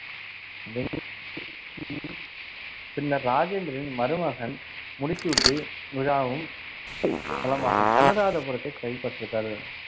பின்னர் ராஜேந்திரனின் மருமகன் முடிசூட்டு விழாவும் தளமாகும் அனுராதபுரத்தை கைப்பற்றுதல்